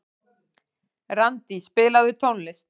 Randí, spilaðu tónlist.